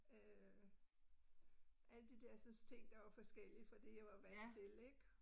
Øh alle de dersens ting, der var forskellige fra, det jeg var vant til ik